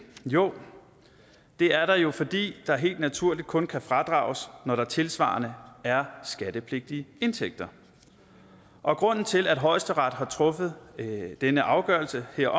jo det er der jo fordi der helt naturligt kun kan fradrages når der tilsvarende er skattepligtige indtægter og grunden til at højesteret har truffet denne afgørelse er